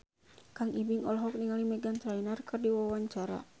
Kang Ibing olohok ningali Meghan Trainor keur diwawancara